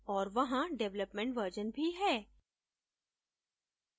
और वहाँ development version भी है